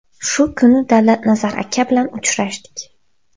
Shu kuni Davlatnazar aka bilan uchrashdik.